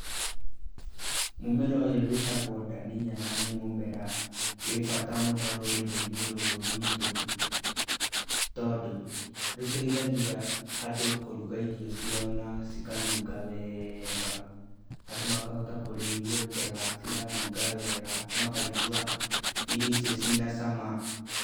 Mũmera ũyũ wĩtagwo ndania na nĩ mũmera wĩ bata mũno rũrĩrĩ-inĩ rũrũ rwitũ tondũ rũteithagia andũ kũruga irio ciao na cikanunga wega, andũ makahota kũrĩa irio njega ciranunga wega, makaigua irio icio ciĩ na cama.